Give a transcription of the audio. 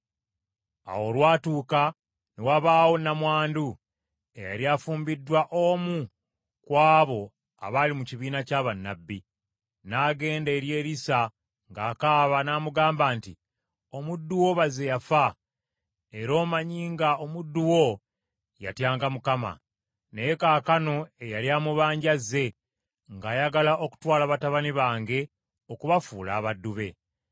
Awo olwatuuka ne wabaawo nnamwandu, eyali afumbiddwa omu ku abo abaali mu kibiina kya bannabbi, n’agenda eri Erisa ng’akaaba n’amugamba nti, “Omuddu wo, baze yafa, era omanyi nga omuddu wo yatyanga Mukama . Naye kaakano eyali amubanja azze, ng’ayagala okutwala batabani bange okubafuula abaddu be.”